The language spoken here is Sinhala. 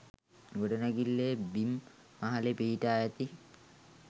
ගොඩනැඟිල්ලේ බිම් මහලේ පිහිටා ඇති